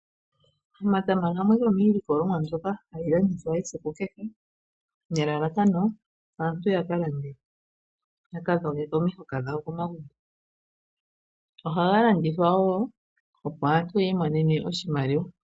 Omatama gamwe gomiilikolomwa mbyoka hayi landithwa esiku kehe. Nelalakano opo aantu ya kalande ya dhogeke omahoka gawo komagumbo. Oha ga landithwa woo opo aantu yi imonena oshimaliwa.